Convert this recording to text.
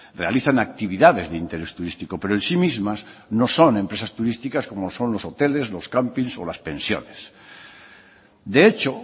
realizan actividades de interés turístico pero en sí mismas no son empresas turísticas como son los hoteles los camping o las pensiones de hecho